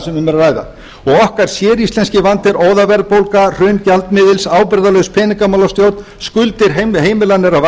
sem um er að ræða og okkar séríslenski vandi er óðaverðbólga hrun gjaldmiðils ábyrgðarlaus peningamálastjórn skuldir heimilanna eru að